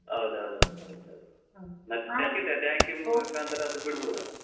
ಹೌದೌದೌದು. tank ಮುಖಾಂತರ ಅದು ಬಿಡ್ಬೋದದನ್ನು.